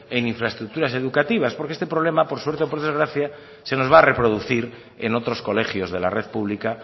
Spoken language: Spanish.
en infraestructura educativas porque este problema por suerte o por desgracia se nos va a reproducir en otros colegios de la red pública